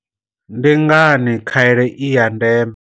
Ndi ngani khaelo i ya ndeme?